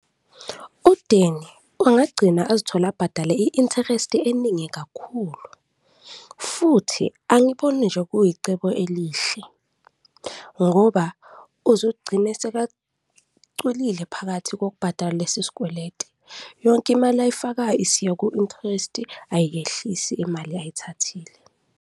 UDanny angagcina azithola abhadale i-interest-i eningi kakhulu futhi angiboni nje kuyicebo elihle ngoba uzogcine sekacwilile phakathi kokubhadala lesi sikweledi, yonke imali ayifakayo isiya ku-interest-i, ayiyehlisi imali ayithathile.